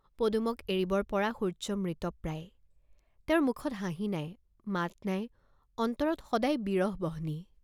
পদুমক এৰিবৰ পৰা সূৰ্য্য মৃতপ্ৰায়, তেওঁৰ মুখত হাঁহি নাই, মাত নাই, অন্তৰত সদাই বিৰহ বহ্নি।